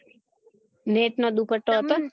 net નો દુપટો હતો